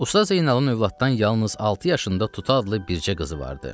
Usta Zeynalın övladdan yalnız altı yaşında Tutu adlı bircə qızı vardı.